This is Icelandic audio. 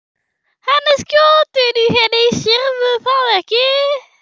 Hann er skotinn í henni, sérðu það ekki?